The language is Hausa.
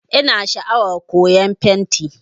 Ina sha'awar koyan fenti